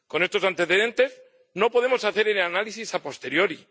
Con estos antecedentes no podemos hacer el análisis a posteriori